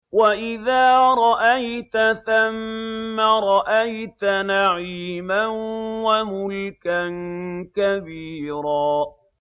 وَإِذَا رَأَيْتَ ثَمَّ رَأَيْتَ نَعِيمًا وَمُلْكًا كَبِيرًا